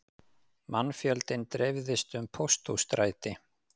Mannfjöldinn dreifðist um Pósthússtræti